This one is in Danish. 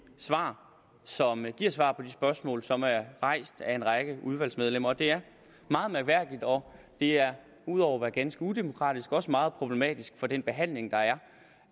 svar som giver svar på de spørgsmål som er rejst af en række udvalgsmedlemmer det er meget mærkværdigt og det er ud over at være ganske udemokratisk også meget problematisk for den behandling der er